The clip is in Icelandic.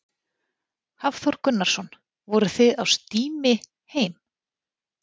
Hafþór Gunnarsson: Voruð þið á stími heim?